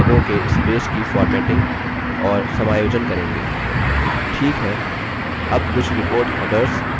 ठीक है add कुछ report headers और footers जोड़ते हैं